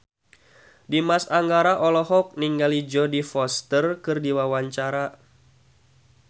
Dimas Anggara olohok ningali Jodie Foster keur diwawancara